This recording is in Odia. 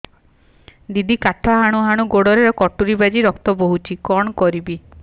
ଦିଦି କାଠ ହାଣୁ ହାଣୁ ଗୋଡରେ କଟୁରୀ ବାଜି ରକ୍ତ ବୋହୁଛି କଣ କରିବି